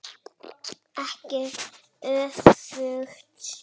Ekki öfugt.